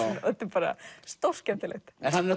bara stórskemmtilegt en hann er